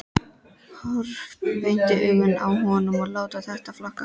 Horfa beint í augun á honum og láta þetta flakka.